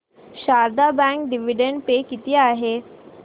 Sharda bank dividend pay किती आहे